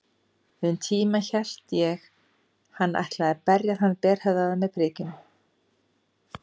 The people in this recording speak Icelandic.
Um tíma hélt ég hann ætlaði að berja þann berhöfðaða með prikinu.